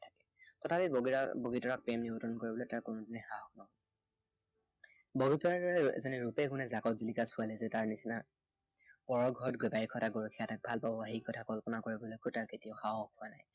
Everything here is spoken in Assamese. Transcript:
তথাপি বগীতৰা, বগীতৰাক প্ৰেম নিবেদন কৰিবলৈ তাৰ কোনোদিনেই সাহস নহল। বগীতৰাৰ দৰে ৰূপে গুণে জাকত জিলিকা ছোৱালী এজনীয়ে তাৰ নিচিনা পৰৰ ঘৰত গেবাৰি খটা গৰখীয়া এটাক ভাল পাব সেই কথা কল্পনা কৰিবলৈকো তাৰ কেতিয়াও সাহস হোৱা নাই।